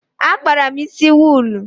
Akpara m isi wuulu.